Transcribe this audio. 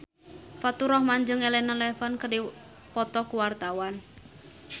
Faturrahman jeung Elena Levon keur dipoto ku wartawan